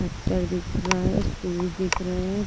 अत्र दिख रहा है शूज दिख रहे हैं।